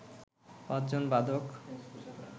পাঁচজন বাদক